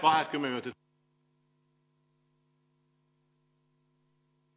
Vaheaeg kümme minutit.